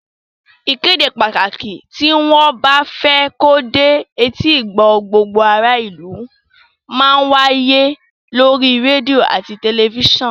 Ìkéde pàtàkì tí wọ́n bá fẹ́ kó dé etígbọ̀ọ́ gbogbo ará ìlú má ń wáyé lórí rédíò àti tẹ̀lifísàn